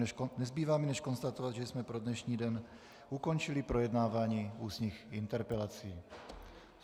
Nezbývá mi než konstatovat, že jsme pro dnešní den ukončili projednávání ústních interpelací.